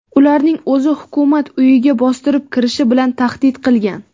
ularning o‘zi Hukumat uyiga bostirib kirish bilan tahdid qilgan.